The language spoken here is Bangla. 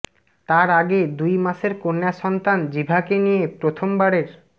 তার আগে দুই মাসের কন্যা সন্তান জিভাকে নিয়ে প্রথমবারের